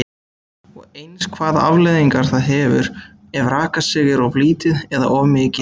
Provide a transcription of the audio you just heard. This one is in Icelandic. Og eins hvaða afleiðingar það hefur ef rakastig er of lítið eða of mikið?